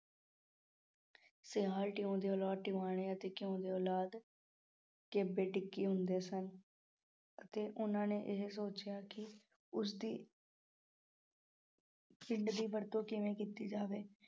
ਟਿਉਂ ਦੀ ਔਲਾਦ ਟਿਵਾਣਿਆਂ ਅਤੇ ਕਿਉਂ ਦੀ ਔਲਾਦ ਕਿ ਬੇਟੇ ਕੀ ਹੁੰਦੇ ਸਨ। ਅਤੇ ਉਹਨਾਂ ਨੇ ਇਹ ਸੋਚਿਆ ਕਿ ਉਸ ਦੀ ਦੀ ਵਰਤੋਂ ਕਿਵੇਂ ਕੀਤੀ ਜਾਵੇਂ।